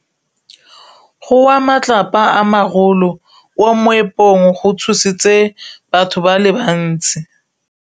Go wa ga matlapa a magolo ko moepong go tshositse batho ba le bantsi.